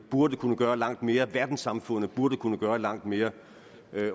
burde kunne gøre langt mere verdenssamfundet burde kunne gøre langt mere